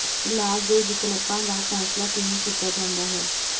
ਇਲਾਜ ਦੇ ਵਿਕਲਪਾਂ ਦਾ ਫੈਸਲਾ ਕਿਵੇਂ ਕੀਤਾ ਜਾਂਦਾ ਹੈ